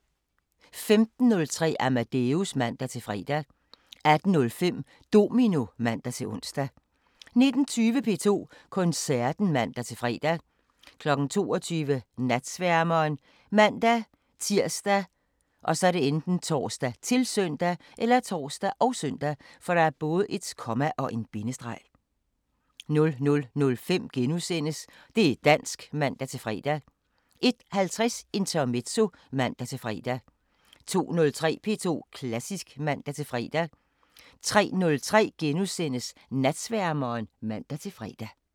15:03: Amadeus (man-fre) 18:05: Domino (man-ons) 19:20: P2 Koncerten (man-fre) 22:00: Natsværmeren ( man-tir, tor, -søn) 00:05: Det' dansk *(man-fre) 01:50: Intermezzo (man-fre) 02:03: P2 Klassisk (man-fre) 03:03: Natsværmeren *(man-fre)